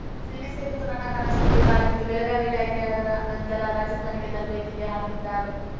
ಸೇನೆ ಸೇರುವುದು ನನ್ನ ಕನಸು ಕೂಡಾ ಆಗಿತ್ತು ಬೆಳಗಾವಿಯಲ್ಲಿ ಆಯ್ಕೆಯಾದ ನಂತರ ರಾಜಸ್ಥಾನಕ್ಕೆ ತರಬೇತಿಗೆ ಹಾಕಿದ್ದಾರು